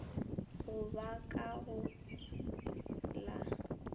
go ba ka go la